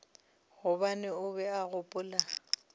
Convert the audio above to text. gobane o be a gopola